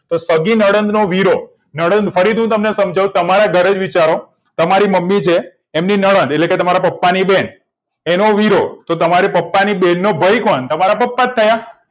સગી નડદ નો વીરો નડદ ફરીથી હું તમને સમજાઉં તમારા જ ઘરે વિચારો તમારી મમ્મી છે એમની નડદ એટલેકે તમારા પપ્પાની બેન એનો વીરો અને પપ્પાની બેનનો ભઈ કોણ તમારા પપ્પા જ થયા